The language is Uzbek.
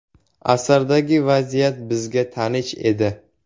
Asardagi vaziyat bizga tanish edi.